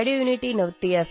M एकभारतं श्रेष्ठभारतम्